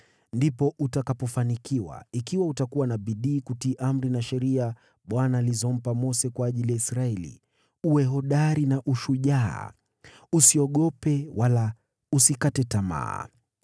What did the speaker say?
Ndipo utakapofanikiwa, ikiwa utakuwa na bidii kutii amri na sheria Bwana alizompa Mose kwa ajili ya Israeli. Uwe hodari na ushujaa. Usiogope wala usikate tamaa.